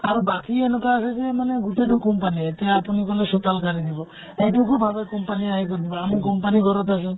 আৰু বাকী এনেকুৱা আছে যে মানে গোটেইতো company য়ে । এতিয়া আপুনি বোলে চোতাল সাৰি দিব । এইটো কো ভাৱে company আহি কৰি দিব । আমি company ঘৰত আছো